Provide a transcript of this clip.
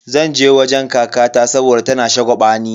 Zan je wajen kakata saboda tana shagwabani.